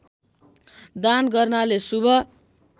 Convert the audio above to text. दान गर्नाले शुभ